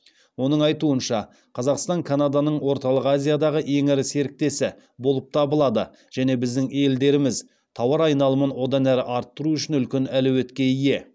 оның айтуынша қазақстан канаданың орталық азиядағы ең ірі серіктесі болып табылады және біздің елдеріміз тауар айналымын одан әрі арттыру үшін үлкен әлеуетке ие